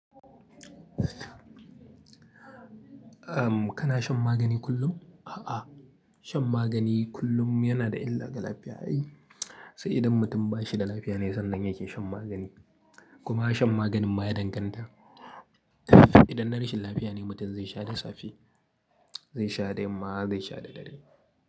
Kana shan magani kullum? A'a, shan magani kullum yana da illa ga lafiya. Sai idan mutum ba shi da lafiya ne sannan yake shan magani. Kuma shan maganin ma ya danganta. Idan na rashin lafiya ne mutum zai sha dasafi, zai sha dayamma, zai sha da dare.